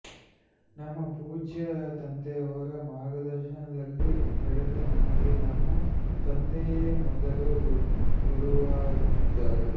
ನಮ್ಮ ಪೂಜ್ಯ ತಂದೆಯವರ ಮಾರ್ಗದರ್ಶನದಲ್ಲಿ ಬೆಳೆದ ನನಗೆ ನಮ್ಮ ತಂದೆಯೇ ಮೊದಲು ಗುರುವಾಗಿದ್ದರು